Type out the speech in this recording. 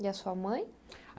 E a sua mãe?